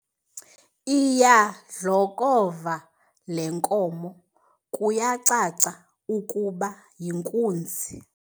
Iyadlokova le nkomo kuyacaca ukuba yinkunzi.